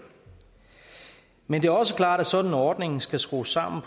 men det er også klart at sådan en ordning skal skrues sammen